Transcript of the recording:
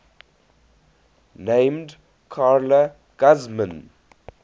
named carla guzman